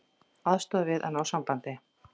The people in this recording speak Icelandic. Aðstoða við að ná sambandi